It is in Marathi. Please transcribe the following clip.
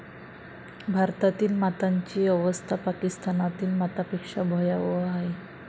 भारतातील मातांची अवस्था पाकिस्तानातील मातांपेक्षा भयावह आहे.